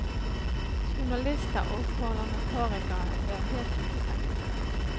Journalister og parlamentarikere ble helt utestengt.